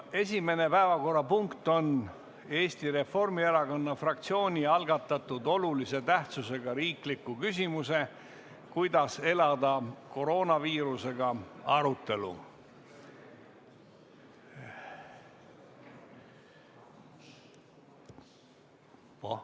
Esimene päevakorrapunkt on Eesti Reformierakonna fraktsiooni algatatud olulise tähtsusega riikliku küsimuse "Kuidas elada koroonaviirusega?" arutelu.